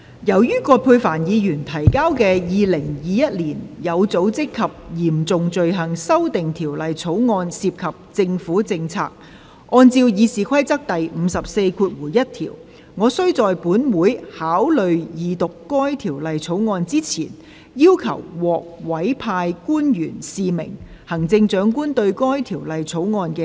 由於葛珮帆議員提交的《2021年有組織及嚴重罪行條例草案》涉及政府政策，按照《議事規則》第541條，我須在本會考慮二讀該條例草案之前，要求獲委派官員示明行政長官對該條例草案的書面同意。